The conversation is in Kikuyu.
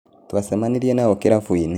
Twacemanirie nao kirabu-inĩ.